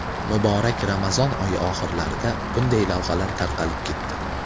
Muborak Ramazon oyi oxirlarida bunday lavhalar tarqalib ketdi.